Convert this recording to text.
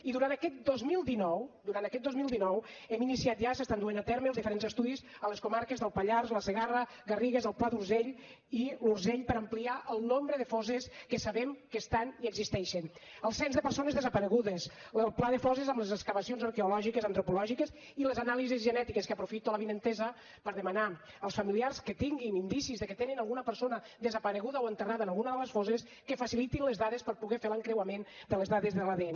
i durant aquest dos mil dinou durant aquest dos mil dinou hem iniciat ja s’estan duent a terme els diferents estudis a les comarques del pallars la segarra les garrigues el pla d’urgell i l’urgell per ampliar el nombre de fosses que sabem que hi ha i existeixen el cens de persones desaparegudes el pla de fosses amb les excavacions arqueo lògiques antropològiques i les anàlisis genètiques que aprofito l’avinentesa per demanar als familiars que tinguin indicis de que tenen alguna persona desapareguda o enterrada en alguna de les fosses que facilitin les dades per poder fer l’encreuament de les dades de l’adn